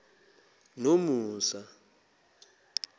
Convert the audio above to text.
nomusa